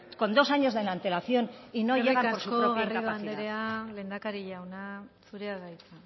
con dos años de antelación y no llega por su propia incapacidad eskerrik asko garrido anderea lehendakari jauna zurea da hitza